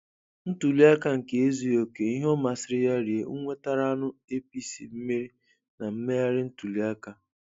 Ntuliaka na-ezughị oke- ihe ọ masịrị ya rie nwetaranụ APC mmeri na mmegharị ntuliaka.